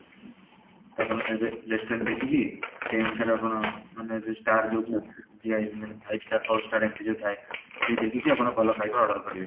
ଆପଣ restaurant ଦେଖିକି ସେଇ ଅନୁସାରେ ମାନେ ଆପଣ ମାନେ ଯୋଉ star ଦିଆ ହେଇଚି ମାନେ five star, four star ଏମିତି ଯୋଉ ଥାଏ ସେଇ ଦେଖିକି ଆପଣ ଭଲ ଖାଇବା order କରିବେ